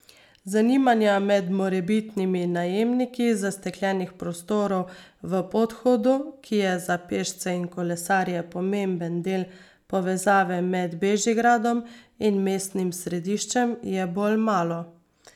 Zanimanja med morebitnimi najemniki zastekljenih prostorov v podhodu, ki je za pešce in kolesarje pomemben del povezave med Bežigradom in mestnim središčem, je bolj malo.